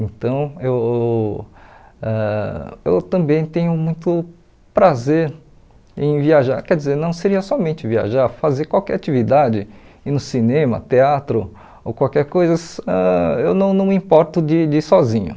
Então, eu ãh eu também tenho muito prazer em viajar, quer dizer, não seria somente viajar, fazer qualquer atividade, ir no cinema, teatro ou qualquer coisa, se ãh eu não não me importo de de ir sozinho.